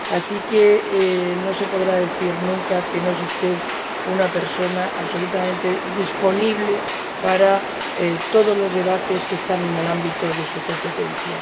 Así que no se podrá decir nunca que no es usted una persona absolutamente disponible para todos los debates que están en el ámbito de su competencia.